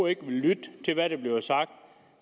ikke vil lytte til hvad der bliver sagt